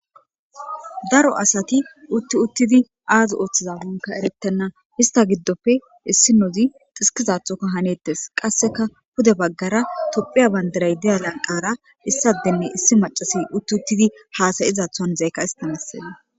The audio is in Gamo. Daro asati utti uttidi aazi ooththizawunka eretenna hista giddoppe issinozi xiskizathoka haneettes qasseka pude baggara tophiya bandiray deya laqara issadenne issi macasi utti uttidi haasayiza hanzeykka istamesena.